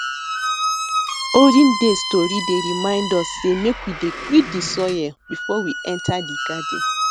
olden days tori dey remind us sey make we dey greet de soil before we enter de garden